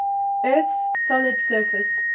earth's solid surface